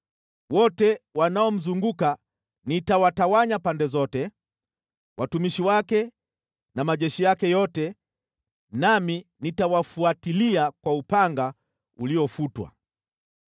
Wote wanaomzunguka nitawatawanya pande zote, watumishi wake na majeshi yake yote, nami nitawafuatilia kwa upanga uliofutwa.